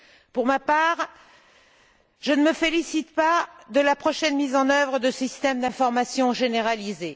Pour ma part, je ne me félicite pas de la prochaine mise en œuvre de systèmes d'information généralisés.